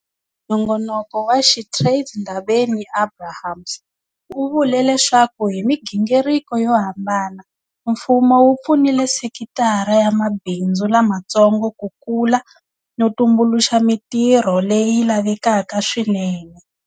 Nongonoko wa SheTrades Ndabeni-Abrahams u vule leswaku hi migingiriko yo hambana, mfumo wu pfunile sekitara ya mabindzu lamatsongo ku kula no tumbuluxa mitirho leyi lavekaka swinene.